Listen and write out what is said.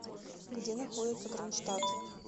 где находится кронштадт